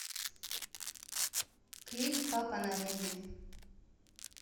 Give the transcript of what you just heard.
клип папа на рэйве